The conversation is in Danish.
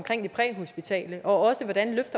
det præhospitale og